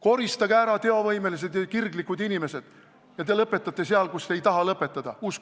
Koristage ära teovõimelised ja kirglikud inimesed, ja te lõpetate seal, kus te ei taha lõpetada!